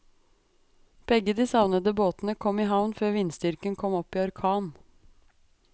Begge de savnede båtene kom i havn før vindstyrken kom opp i orkan.